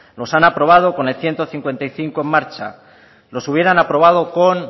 los han aprobado con el ciento cincuenta y cinco en marcha los hubieran aprobado con